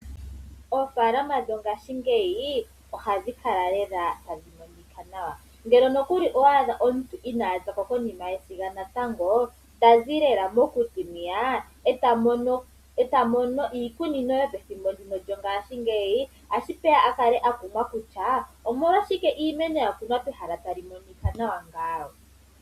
Oofaalama dhongashingeyi ohadhi kala lela tadhi monika nawa. Ngele nokuli owa adha omuntu inaa zako konima yesiga natango tazi lela kokuti hwiya, e ta mono iikunino otashi peya a kale a kumwa kutya omolwashike iimeno yakunwa pehala mpano tapu monika nawa?